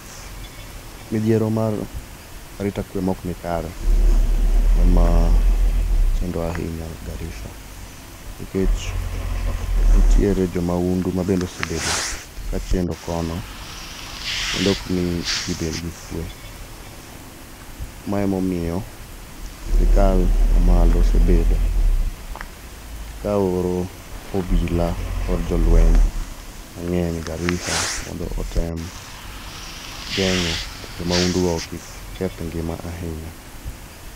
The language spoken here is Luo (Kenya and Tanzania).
Midhiero malo arita kwee ma ok ni kare e ma chendo ahinya Garissa, nikech nitiere jo mahundu ma bende osebedo ka chendo kono kendo okmii jii bed gi kwee. Mae ema omiyo sirkal ma malo osebedo, ka oro obila kod jolweny mang'eny Garissa mondo otem geng'o jo mahundu go kik keth ngima ahinya.